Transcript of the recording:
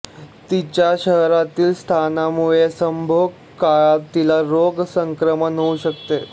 तीच्या शरीरातील स्थानामुळे संभोग काळात तिला रोग संक्रमण होऊ शकते